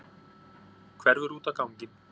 Hverfur út á ganginn.